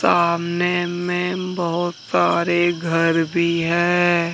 सामने में बहुत सारे घर भी है।